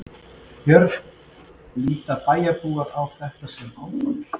Björn: Líta bæjarbúar á þetta sem áfall?